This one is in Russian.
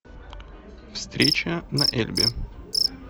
встреча на эльбе